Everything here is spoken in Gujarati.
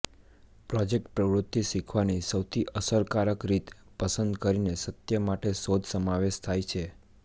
પ્રોજેક્ટ પ્રવૃત્તિ શીખવાની સૌથી અસરકારક રીત પસંદ કરીને સત્ય માટે શોધ સમાવેશ થાય છે